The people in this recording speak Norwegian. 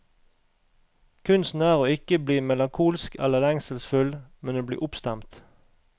Kunsten er å ikke bli melankolsk eller lengselsfull, men å bli oppstemt.